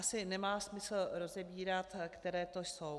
Asi nemá smysl rozebírat, které to jsou.